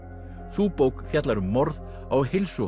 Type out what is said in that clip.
sú bók fjallar um morð á